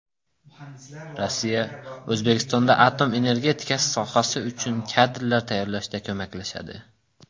Rossiya O‘zbekistonda atom energetikasi sohasi uchun kadrlar tayyorlashda ko‘maklashadi.